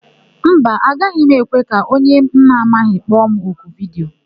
Mba, agaghị m ekwe ka onye mụ amaghị kpọ m oku vidiyo.